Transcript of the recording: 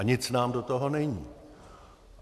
A nic nám do toho není.